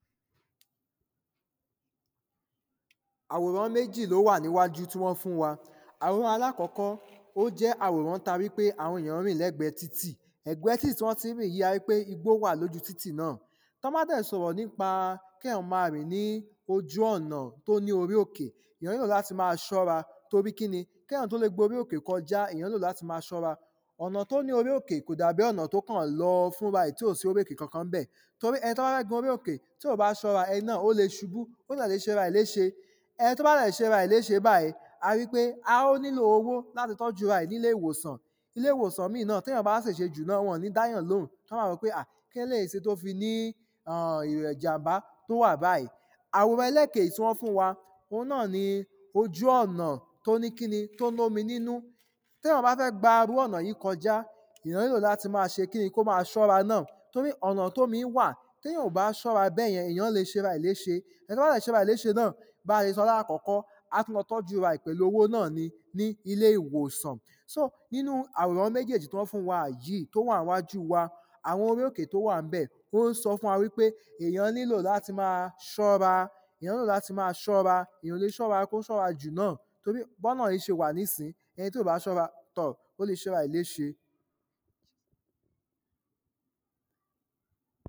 àwòrán méjì ni ó wà níwájú tí wọ́n fún wa àwòrán aláàkọ́kọ́ ó jẹ́ àwòrán ta ri pé àwọn ènìyàn ń rìn lẹ́ẹ̀gbẹ́ títì ẹ̀gbẹ́ títì tí wọ́n ti ń rìn yí, aripé igbó wà lóju títì náà tí a bá dẹ̀ ṣọ̀rọ̀ nípa kéyàn ma rìn ní ojú ọ̀nà tí ó ní orí òkè èyàn nílò láti ma ṣọ́ra torí kíni, kéyàn tó lè gborí òkè kọjá èyàn nílò láti ma ṣọ́ra ọ̀nà tí ó ní orí òkè kò dà bí ọ̀nà tó kàn lọ fúnra ẹ̀ tí ò sí orí òkè kànkan ńbẹ̀ torí ẹni tóbá fẹ́ gorí òkè tí ò bá ṣọ́ra, ẹni náà ó lè ṣubú ó dè lè ṣera ẹ̀ léṣe ẹni tó bá dẹ̀ ṣera ẹ̀ léṣe báyìí ari pé a ó nílò owó láti tọ́jú ara ẹ̀ nílé ìwòsàn, ilé ìwòsàn míì náà téyàn bá ṣèṣe jù náà wọ́n ò ní dáyàn lóhùn wọ́n ma wò pé à kí leléèyí ṣe tó fi ní um ìrẹ̀ ìjànbá tó wà báyìí àwòrán ẹlẹ́kejì tí wọ́n fún wa òun náà ni ojú ọ̀nà tó ní kíni, tó lómi nínú téyàn bá fẹ́ gba irú ọ̀nà yí kọjá èyàn nílò láti ma ṣe kíni, kó ma ṣọ́ra náà torí ọ̀nà tómi wà téyàn ò bá ṣọ́ra bẹ́yẹn, èyàn lè ṣera ẹ̀ léṣe ẹni tó bá dẹ̀ ṣera ẹ̀ léṣe náà, bá ṣe sọ láàkọ́kọ́ á tún lọ tọ́jú ara ẹ̀ pẹ̀lú owó náà ni ní ilé ìwòsàn so nínú àwòrán méjèjì tọ́n fún wa yìí, èyí tí ó wà níwájú wa àwọn orí òkè tí ó wà ńbẹ̀, ó ń sọ fún wa pé èyàn nílò láti máa ṣọ́ra èyàn nílò láti máa ṣọ́ra èyàn ò lè ṣọ́ra kó ṣọ́ra jù náà torí bọ́nà yí ṣe wà nísìn, ẹni tí ò bá ṣọ́ra tọ̀ ó le ṣera ẹ̀ léṣe